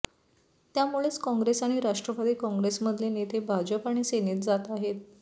त्यामुळेच काँग्रेस आणि राष्ट्रवादी काँग्रेसमधले नेते भाजप आणि सेनेत जात आहेत